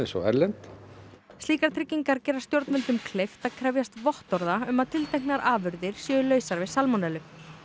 og erlend slíkar tryggingar gera stjórnvöldum kleift að krefjast vottorða um að tilteknar afurðir séu lausar við salmonellu